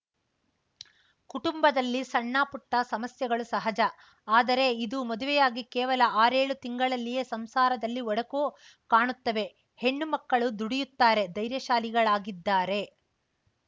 ಕುಟುಂಬದಲ್ಲಿ ಸಣ್ಣಪುಟ್ಟಸಮಸ್ಯೆಗಳು ಸಹಜ ಆದರೆ ಇದು ಮದುವೆಯಾಗಿ ಕೇವಲ ಆರೇಳು ತಿಂಗಳಲ್ಲಿಯೇ ಸಂಸಾರದಲ್ಲಿ ಒಡಕು ಕಾಣುತ್ತವೆ ಹೆಣ್ಣುಮಕ್ಕಳು ದುಡಿಯುತ್ತಾರೆ ಧೈರ್ಯಶಾಲಿಗಳಾಗಿದ್ದಾರೆ